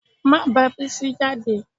Má bá Bísí jáde